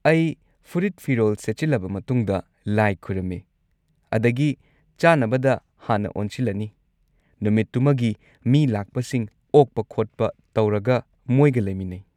ꯑꯩ ꯐꯨꯔꯤꯠ ꯐꯤꯔꯣꯜ ꯁꯦꯠꯆꯤꯜꯂꯕ ꯃꯇꯨꯡꯗ, ꯂꯥꯏ ꯈꯣꯢꯔꯝꯃꯤ, ꯑꯗꯒꯤ ꯆꯥꯅꯕꯗ ꯍꯥꯟꯅ ꯑꯣꯟꯁꯤꯜꯂꯅꯤ; ꯅꯨꯃꯤꯠꯇꯨꯃꯒꯤ ꯃꯤ ꯂꯥꯛꯄꯁꯤꯡ ꯑꯣꯛꯄ ꯈꯣꯠꯄ ꯇꯧꯔꯒ ꯃꯣꯏꯒ ꯂꯩꯃꯤꯟꯅꯩ꯫